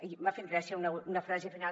i m’ha fet gràcia una frase final